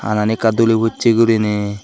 hanani ekka duli pocche gurine.